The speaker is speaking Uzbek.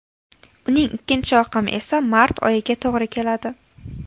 Uning ikkinchi oqimi esa mart oyiga to‘g‘ri keladi.